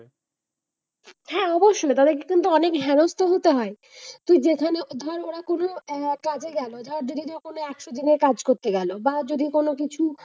হ্যাঁ অবশ্যই তাদের কিন্তু অনেক হেনস্ত হতে হয়। তুই যেখানে ধর ওরা কোন আহ কাজে গেল যদি কেউ কোন accdent কাজ করতে গেল। বা যদি কোনকিছু,